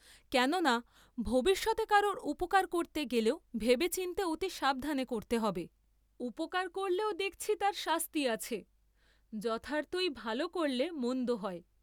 কেন না ভবিষ্যতে কারো উপকার করতে গেলেও ভেবে চিন্তে অতি সাবধানে করতে হবে; উপকার করলেও দেখছি তার শাস্তি আছে, যথার্থ ই ভাল করলে মন্দ হয়।